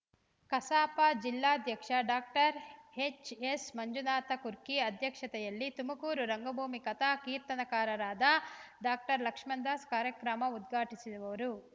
ಕಸಾಪ ಜಿಲ್ಲಾಧ್ಯಕ್ಷ ಡಾಕ್ಟರ್ ಎಚ್‌ಎಸ್‌ಮಂಜುನಾಥ ಕುರ್ಕಿ ಅಧ್ಯಕ್ಷತೆಯಲ್ಲಿ ತುಮಕೂರು ರಂಗಭೂಮಿ ಕಥಾ ಕೀರ್ತನಕಾರರಾದ ಡಾಕ್ಟರ್ ಲಕ್ಷ್ಮಣದಾಸ್‌ ಕಾರ್ಯಕ್ರಮ ಉದ್ಘಾಟಿಸುವರು